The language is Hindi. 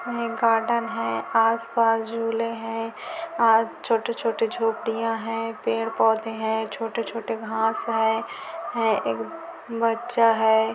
यह गार्डन है आस-पास झूले है और छोटे छोटे झोपड़िया है पेड़-पौधे है छोटे छोटे घास है बच्चा है|